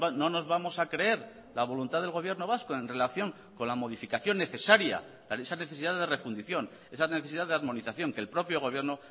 no nos vamos a creer la voluntad del gobierno vasco en relación con la modificación necesaria esa necesidad de refundición esa necesidad de armonización que el propio gobierno